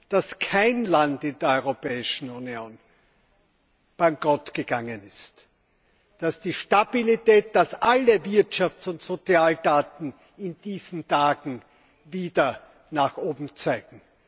dass kein Land in der Europäischen Union bankrottgegangen ist, dass die Stabilität, dass alle Wirtschafts und Sozialdaten in diesen Tagen wieder nach oben zeigen.